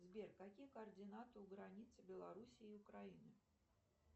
сбер какие координаты у границы белоруссии и украины